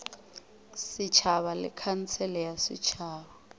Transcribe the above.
setšhaba le khansele ya setšhaba